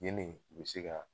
Ni nin bi se ka